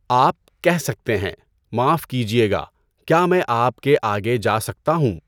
آپ کہہ سکتے ہیں، 'معاف کیجئے گا، کیا میں آپ کے آگے جا سکتا ہوں؟'